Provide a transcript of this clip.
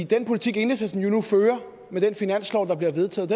den politik enhedslisten jo nu fører med den finanslov der bliver vedtaget